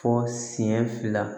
Fɔ senɲɛ fila